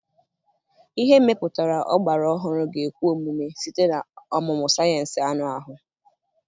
Ihe mepụtara ọgbara ọhụrụ ga-ekwe omume site na ọmụmụ sayensị anụ ahụ.